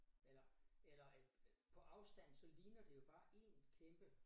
Eller eller øh på afstand så ligner det jo bare én kæmpe